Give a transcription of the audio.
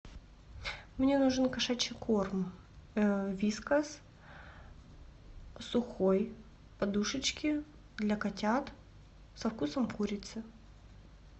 мне нужен кошачий корм вискас сухой подушечки для котят со вкусом курицы